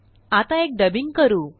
आता एक डबिंग करू